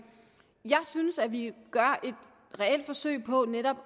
jeg synes at vi gør et reelt forsøg på netop